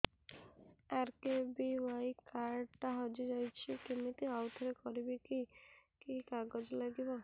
RKBY card ଟା ହଜିଯାଇଛି କିମିତି ଆଉଥରେ କରିବି କି କି କାଗଜ ଲାଗିବ